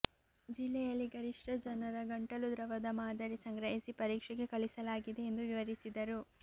ಜಿಲ್ಲೆಯಲ್ಲಿ ಗರಿಷ್ಠ ಜನರ ಗಂಟಲು ದ್ರವದ ಮಾದರಿ ಸಂಗ್ರಹಿಸಿ ಪರೀಕ್ಷೆಗೆ ಕಳಿಸಲಾಗಿದೆ ಎಂದು ವಿವರಿಸಿದರು